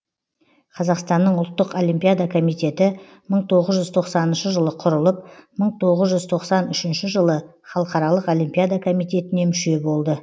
қазақстанның ұлттық олимпиада комитеті мың тоғыз жүз тоқсаныншы жылы құрылып мың тоғыз жүз тоқсан үшінші жылы халықаралық олимпиада комитетіне мүше болды